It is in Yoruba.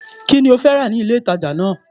Kí ni ó fẹ́ rà ní ilé ìtàjà náà?